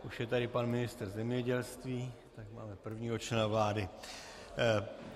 Už je tady pan ministr zemědělství, tak máme prvního člena vlády.